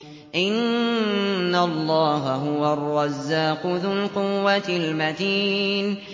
إِنَّ اللَّهَ هُوَ الرَّزَّاقُ ذُو الْقُوَّةِ الْمَتِينُ